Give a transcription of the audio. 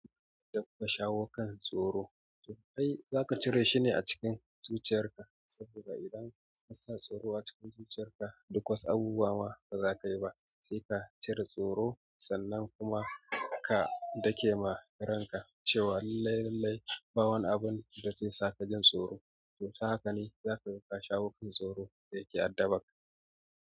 Zan iya shawo kan tsoro to kai zaka cire shi ne a cikin zuciyar ka. Saboda idan ka sa tsoro a cikin zuciyarka, duk wasu abubuwa ma baza ka yi ba. Sai ka cire tsoro, sannan kuma ka dake ma ranka cewa laillai, laillai ba wani abun da zaisaka jin tsoro. To ta haka ne zaka ga ka shawo kan tsoro da yake addabarka.